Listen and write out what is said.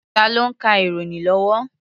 Tá ló ń ka ìròyìn lọ́wọ́?